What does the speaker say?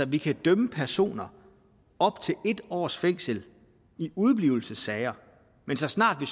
vi kan dømme personer op til en års fængsel i udeblivelsessager men så snart vi